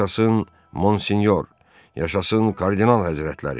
Yaşasın Monsinyor, yaşasın Kardinal Həzrətləri.